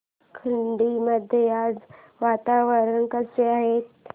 खर्डी मध्ये आज वातावरण कसे आहे